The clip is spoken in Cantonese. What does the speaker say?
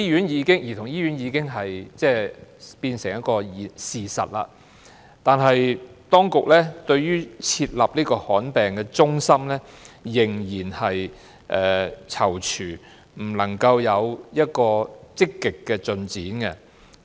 兒童醫院已經落成，但當局對於設立罕見疾病中心仍然在躊躇，這方面沒有積極的進展。